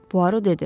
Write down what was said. Puaro dedi.